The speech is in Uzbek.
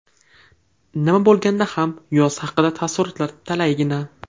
Nima bo‘lganda ham, yoz haqida taassurotlar talaygina.